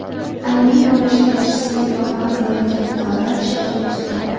Aliment to‘lashga ishsizligini bahona qilayotgan fuqarolar ishga joylashtiriladi.